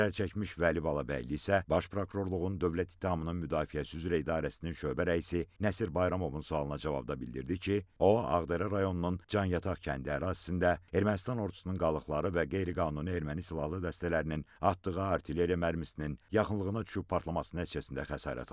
Zərərçəkmiş Vəli Balabəyli isə Baş Prokurorluğun Dövlət ittihamının müdafiəsi üzrə idarəsinin şöbə rəisi Nəsir Bayramovun sualına cavabda bildirdi ki, o, Ağdərə rayonunun Canyataq kəndi ərazisində Ermənistan ordusunun qalıqları və qeyri-qanuni erməni silahlı dəstələrinin atdığı artilleriya mərmisinin yaxınlığına düşüb partlaması nəticəsində xəsarət alıb.